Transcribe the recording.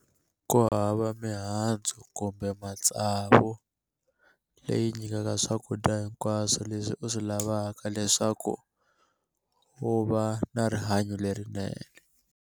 Ku hava mihandzu kumbe matsavu leyi nyikaka swakudya hinkwaswo leswi u swi lavaka leswaku u va na rihanyo lerinene.